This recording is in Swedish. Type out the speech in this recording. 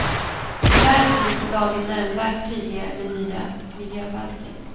Tyvärr blir inte lagen nämnvärt tydligare med nya miljöbalken.